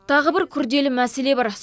тағы бір күрделі мәселе бар